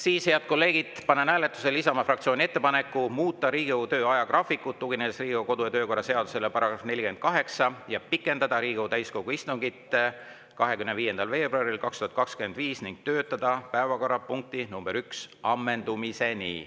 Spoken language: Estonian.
Siis, head kolleegid, panen hääletusele Isamaa fraktsiooni ettepaneku muuta Riigikogu töö ajagraafikut, tuginedes Riigikogu kodu‑ ja töökorra seaduse §‑le 48, pikendada Riigikogu täiskogu istungit 25. veebruaril 2025 ning töötada päevakorrapunkti nr 1 ammendumiseni.